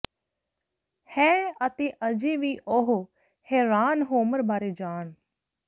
ਹੈ ਅਤੇ ਅਜੇ ਵੀ ਉਹ ਹੈਰਾਨ ਰੋਮਰ ਬਾਰੇ ਜਾਣ